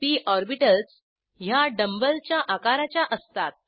P orbitals ह्या dumb bell च्या आकाराच्या असतात